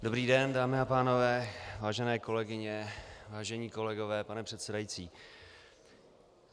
Dobrý den, dámy a pánové, vážené kolegyně, vážení kolegové, pane předsedající.